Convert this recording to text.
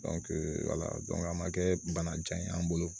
wala dɔnk'a ma kɛ bana jan ye an bolo